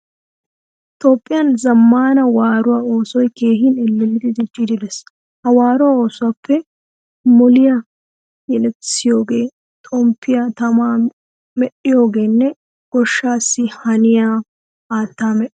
Toophphiyaan zamaana waaruwaa oosoy keehin ellelidi diccidi de'ees. Ha waaruwaa oosuwappee moliya yelettisiyoga, xompiya tamaa medhdhiyoganne goshshaassi haniyaa haattaa medhdhiyoga.